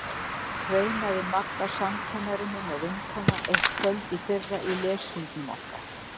kveinaði Magga samkennari minn og vinkona eitt kvöld í fyrra í leshringnum okkar.